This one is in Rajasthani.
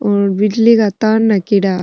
और बिजली का तार नाखेड़ा --